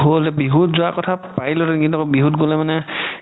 বিহুত যোৱা কথা পাৰিলো কিন্তু বিহুত গ'লে মানে